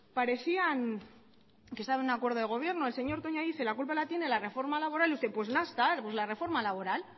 parecían empezar un acuerdo de gobierno el señor toña lo dice la culpa la tiene la reforma laboral pues ya está pues la reforma laboral